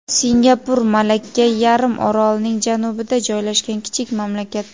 Singapur – Malakka yarim orolining janubida joylashgan kichik mamlakat.